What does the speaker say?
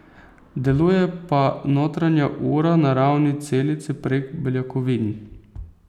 Deluje pa notranja ura na ravni celice, prek beljakovin.